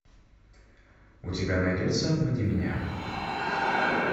у тебя найдется обмани меня